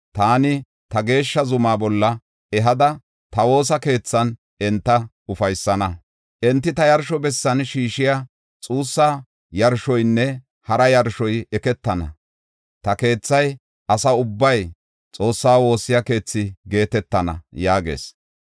taani ta geeshsha zumaa bolla ehada ta woosa keethan enta ufaysana. Enti ta yarsho bessan shiishiya xuussa yarshoynne hara yarshoy eketana; ta keethay asa ubbay Xoossaa woossiya keethi geetetana” yaagees.